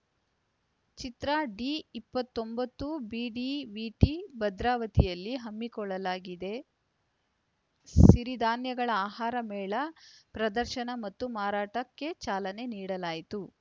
ಚಿತ್ರ D ಇಪ್ಪತ್ತೊಂಬತ್ತು BDVT ಭದ್ರಾವತಿಯಲ್ಲಿ ಹಮ್ಮಿಕೊಳ್ಳಲಾಗಿದ್ದ ಸಿರಿ ಧಾನ್ಯಗಳ ಆಹಾರ ಮೇಳ ಪ್ರದರ್ಶನ ಮತ್ತು ಮಾರಾಟಕ್ಕೆ ಚಾಲನೆ ನೀಡಲಾಯಿತು